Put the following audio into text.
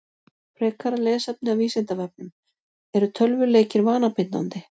Frekara lesefni af Vísindavefnum: Eru tölvuleikir vanabindandi?